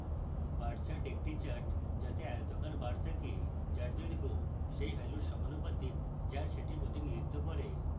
bar chart একটি chart যাতে আয়তাকার bar থাকে bar দৈর্ঘ্য সেই ভ্যালুর সমানুপাতিক bar সেটি প্রতিনিধিত্ব করে